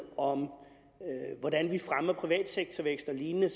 om hvordan vi fremmer privatsektorvækst og lignende